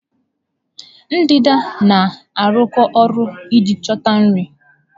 Ndanda na-arụkọ ọrụ iji chọta nri.